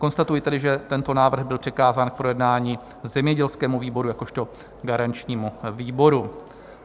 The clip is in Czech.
Konstatuji tedy, že tento návrh byl přikázán k projednání zemědělskému výboru jakožto garančnímu výboru.